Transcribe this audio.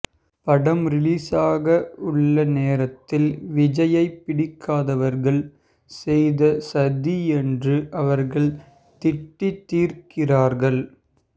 படம் ரிலீஸாக உள்ள நேரத்தில் விஜய்யை பிடிக்காதவர்கள் செய்த சதி என்று அவர்கள் திட்டித் தீர்க்கிறார்கள்